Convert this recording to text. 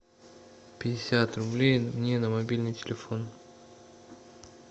пятьдесят рублей мне на мобильный телефон